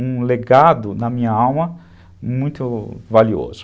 um legado na minha alma muito valioso.